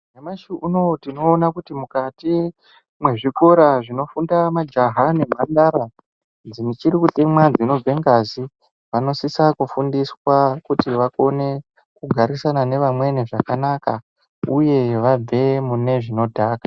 Nyamushi unoo tinoona kuti mukati mwezvikora zvinofunda majaha nemhandara dzichiri kutemwa dzinobve ngazi vanosisa kufundiswa kuti vakone kugarisana nevamweni zvakanaka uye vabve mune zvinodhaka.